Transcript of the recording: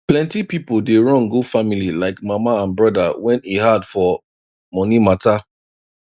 plenty people dey run go family like mama and brother when e hard for money matter